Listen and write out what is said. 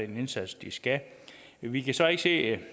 den indsats de skal vi kan så ikke se